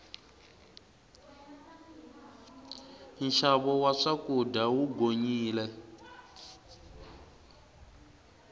nxavo wa swakudya wu gonyile